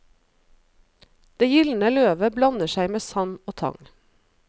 Det gyldne løvet blander seg med sand og tang.